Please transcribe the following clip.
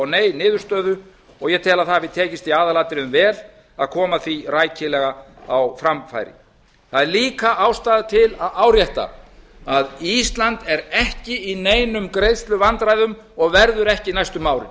nei niðurstöðu og ég tel að það hafi tekist í aðalatriðum vel að koma því rækilega á framfæri það er líka ástæða til að árétta að ísland er ekki í neinum greiðsluvandræðum og verður ekki næstu